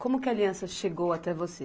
Como que a aliança chegou até você?